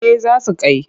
Eh za su kai ta.